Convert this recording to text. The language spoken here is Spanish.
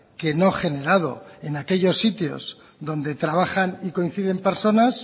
que no generado en aquellos sitios donde trabajan y coinciden personas